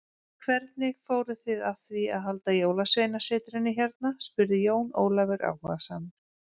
En hvernig fóruð þið að því halda Jólasveinasetrinu hérna spurði Jón Ólafur áhugasamur.